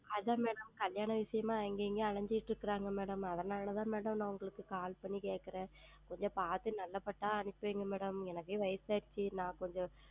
ஆமாம் அது தான் Madam கல்யாண விஷயமாக அங்கேயும் இங்கேயும் அலைந்து கொண்டு உள்ளார்கள் Madam அதுனால் தான் Madam நான் உங்களுக்கு Call செய்து கேட்கிறேன் கொஞ்சம் பார்த்து நல்ல பட்டாக அனுப்பி வையுங்கள் Madam எனக்கே வயது ஆகி விட்டது நான் கொஞ்சம்